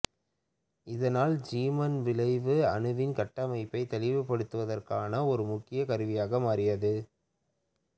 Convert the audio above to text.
இதனால் ஜீமான் விளைவு அணுவின் கட்டமைப்பை தெளிவுபடுத்துவதற்கான ஒரு முக்கிய கருவியாக மாறியது